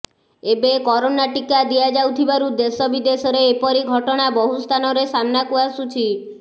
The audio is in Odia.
ଏବେ କରୋନା ଟିକା ଦିଆଯାଉଥିବାରୁ ଦେଶବିଦେଶରେ ଏପରି ଘଟଣା ବହୁସ୍ଥାନରେ ସାମ୍ନାକୁ ଆସୁଛି